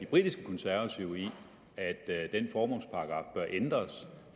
britiske konservative i at den formålsparagraf bør ændres